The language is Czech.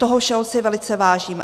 Toho všeho si velice vážím.